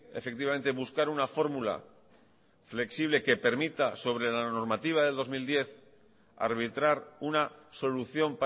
efectivamente buscar una fórmula flexible que permita sobre la normativa del dos mil diez arbitrar una solución